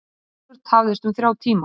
Herjólfur tafðist um þrjá tíma